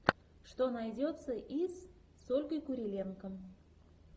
что найдется из с ольгой куриленко